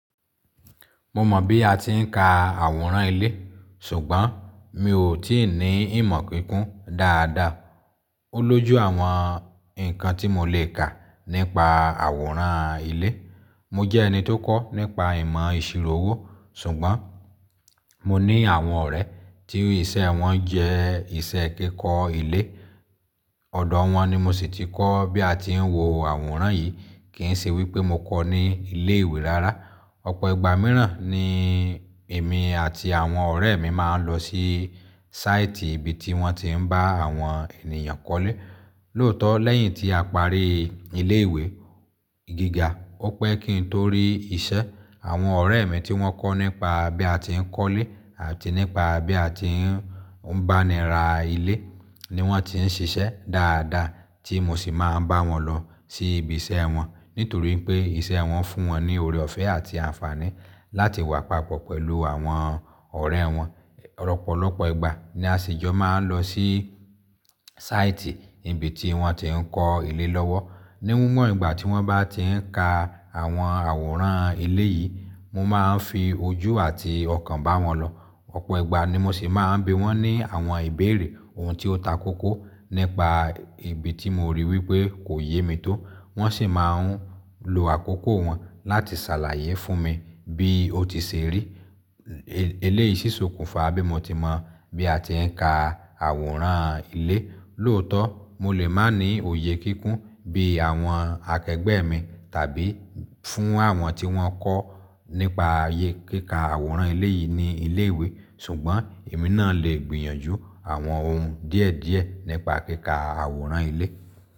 Mo mọ̀ bí a ti ń ka àwòrán ilé, ṣùgbọ́n mi ò tí ì ní ìmọ̀ kíkún dáadáa. Ó lójú àwọn nǹkan tí mo lè kà nípa àwòrán ilé. Mo jẹ́ ẹni tó kọ́ nípa ìmọ̀ ìṣirò owó, ṣùgbọ́n mo ní àwọn ọ̀rẹ́ tí iṣẹ́ wọn jẹ́ iṣẹ́ ẹ kíkọ́ ilé. Ọ̀dọ̀ ọ wọn ni mo sì ti kọ́ bí a ti ń wo àwòrán yìí, kì ń ṣe wípé mo kọ́ ní ilé ìwé rárá. Ọ̀pọ̀ ìgbà mìíràn ni èmi àti àwọn ọ̀rẹ́ mi máa ń lọ sí sáìtì ibi tí wọ́n ti ń bá àwọn ènìyàn kọ́lé. Lóòótọ́, lẹ́yìn tí a parí ilé ìwé gíga, ó pẹ́ kí n torí iṣẹ́. Àwọn ọ̀rẹ́ ẹ̀ mi tí wọ́n kọ́ nípa bí a ti ń kọ́lé àti nípa bí a ti ń báni ra ilé ni wọ́n ti ń ṣiṣẹ́ dáadáa tí mo sì máa ń bá wọn lọ sí ibi iṣẹ́ ẹ wọn nítorí pé iṣẹ́ ẹ wọn fún wọn ní ọrẹ ọ̀fẹ́ àti àǹfààní láti wà papọ̀ pẹ̀lú àwọn ọ̀rẹ́ ẹ wọn. Ọ̀pọ̀lọpọ̀ ìgbà ni a sìjọ máa ń lọ sí sáìtì níbi tí wọ́n ti ń kọ́ ilé lọ́wọ́. Níwọ̀n ìgbà tí wọ́n bá ti ń ka àwọn àwòrán ilé yìí, mo máa ń fi ojú àti ọkàn bá wọn lọ. Ọ̀pọ̀ ìgbà ni mo sì máa ń bi wọ́n ní àwọn ìbéèrè ohun tí ó takókó nípa ibi tí mo rí wípé kò yé mi tó. Wọ́n sì máa ń lo àkókò wọn láti ṣàlàyé fún mi. Bí ó ti ṣe rí, eléyìí sì ṣòkùnfà bí mo ti mọ bí a ti ń ka àwòrán ilé. Lóòótọ́, mo lè má ní òye kíkún bí àwọn akẹgbẹ́ ẹ̀ mi tàbí fún àwọn tí wọ́n kọ́ nípa àyè kíkà àwòrán ilé yìí ní ilé ìwé, ṣùgbọ́n èmi náà leè gbìyànjú àwọn ohun díẹ̀díẹ̀ nípa kíkà àwòrán ilé.